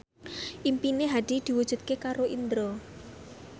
impine Hadi diwujudke karo Indro